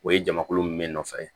O ye jamakulu min me nɔfɛ